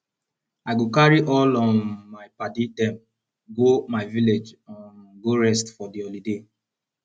i go carry all um my paddy dem go my village um go rest for di holiday